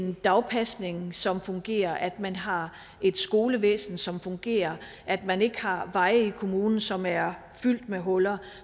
en dagpasning som fungerer at man har et skolevæsen som fungerer at man ikke har veje i kommunen som er fyldt med huller